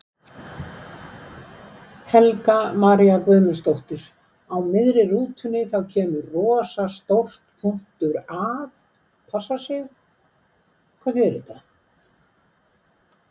Helga María Guðmundsdóttir: Á miðri rútunni þá kemur rosa stórt.að passa sig, hvað þýðir þetta?